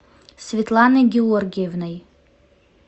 светланой георгиевной